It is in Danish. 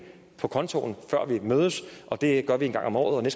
på kontoen før vi mødes og det gør vi en gang om året